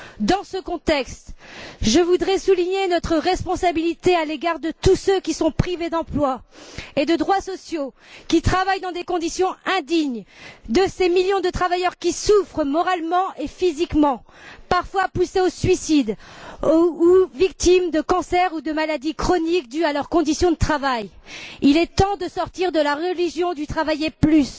Dans ce contexte, je voudrais souligner notre responsabilité à l'égard de tous ceux qui sont privés d'emploi et de droits sociaux, qui travaillent dans des conditions indignes, de ces millions de travailleurs qui souffrent moralement et physiquement, parfois poussés au suicide, ou victimes de cancers ou de maladies chroniques dues à leurs conditions de travail. Il est temps de sortir de la religion du travailler plus,